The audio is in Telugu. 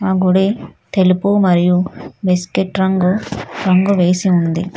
ఆ గుడి తెలుపు మరియు బిస్కెట్ రంగు రంగు వేసి ఉంది.